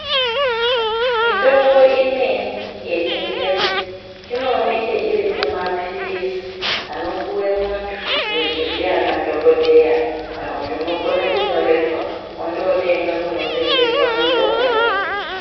Mitombo imweni yechingezi inoneke iri mumaphirizi anopuve muntu ndiana dhogodheya. Kana kuti unokone kunyorerwa vondotenga kunotengeswa mitombo.